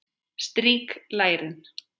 Strýk lærin.